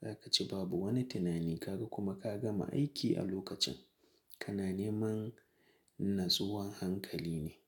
za ka ci babu wani tunani ka ga kuma ka gama aiki a lokacin. Kana neman natsuwa hankali ne.